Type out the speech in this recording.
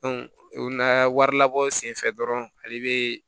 o na wari labɔ senfɛ dɔrɔn ale bɛ